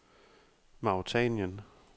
Mauretanien